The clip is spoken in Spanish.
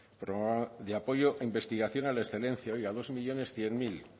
programa apoyo a investigación a la excelencia oiga dos millónes cien mil cero